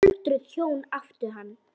Öldruð hjón áttu hann.